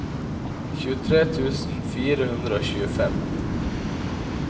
tjuetre tusen fire hundre og tjuefem